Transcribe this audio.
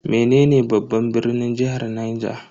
Menene babban birnin jihar Niger?